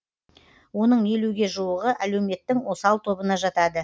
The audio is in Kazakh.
оның елуге жуығы әлеуметтің осал тобына жатады